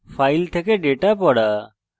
file থেকে data পড়া